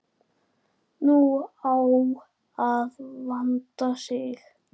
Nú á að vanda sig.